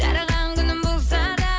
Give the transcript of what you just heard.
жараған күнің болса да